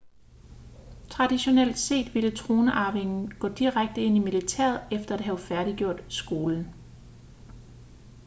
traditionelt set ville tronarvingen gå direkte ind i militæret efter at have færdiggjort skolen